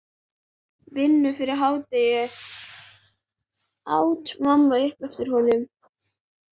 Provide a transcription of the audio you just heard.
Vinnu fyrir hádegi, át mamma upp eftir honum.